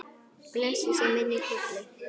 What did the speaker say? Blessuð sé minning Hollu.